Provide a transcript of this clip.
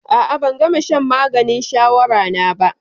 A'a, ban gama shan maganin shawara na ba.